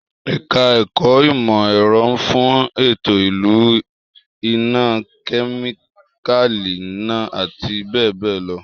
Èka-èkó ìmò-èro nfun eto ilu ina-, kemikali ina- ati be be lo